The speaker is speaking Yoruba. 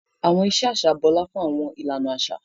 Àwọn ìṣe aṣa bọla fun awọn ìlànà aṣa.